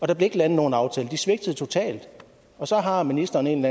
der blev ikke landet nogen aftale for de svigtede totalt og så har ministeren en